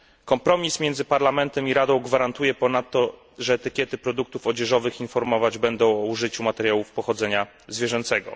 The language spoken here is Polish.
Kompromis między Parlamentem i Radą gwarantuje ponadto, że etykiety produktów odzieżowych informować będą o użyciu materiałów pochodzenia zwierzęcego.